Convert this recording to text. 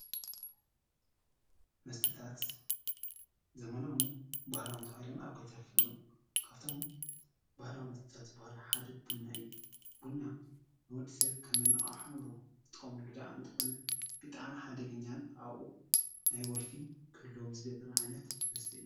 መስተታት ዘበናውን ባህላውን ተባሂሎም ኣብ ክልት ይኽፈሉ፡፡ ካብቶም ባህላዊ መስተታት ዝብሃሉ ሓደ ቡና እዩ፡፡ ቡና ንወዲሰብ ከም መነቃቅሒ እንብሎ ዝጥቀመሉ እኳ እንተኾነ ብጣዕሚ ሓደገኛን ናይ ወልፊ ክህልዎም ዝገብር ዓይነት መስተ እዩ፡፡